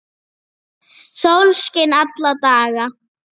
Sólskin alla daga.